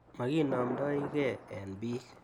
Makinamdoigei eng' pik